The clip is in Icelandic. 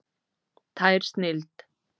Tær snilld!